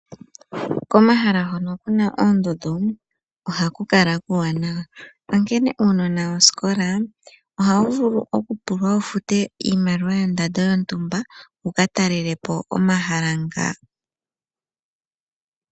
Komahala hono ku na oondundu ohaku kala kuuwanawa, onkene uunona wosikola ohawu vulu okupulwa wu fute iimaliwa yondando yontumba wu ka talele po omahala nga.